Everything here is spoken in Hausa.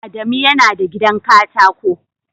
Adamu yana da gidan katako